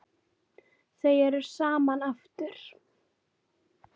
Þau eru saman aftur.